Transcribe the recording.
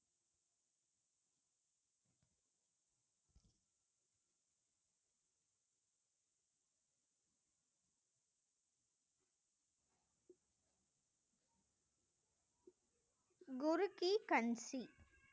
குரு கி கன்சி